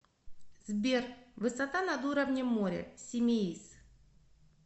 сбер высота над уровнем моря симеиз